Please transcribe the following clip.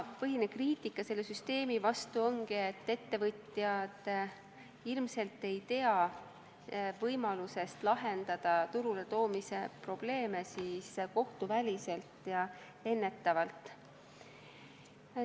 Põhiline kriitika selle süsteemi kohta ongi, et ettevõtjad ilmselt ei tea võimalusest lahendada turuletoomise probleeme kohtuväliselt ja ennetavalt.